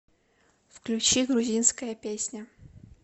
включи грузинская песня